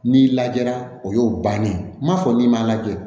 N'i lajɛra o y'o bannen ye m'a fɔ n'i m'a lajɛ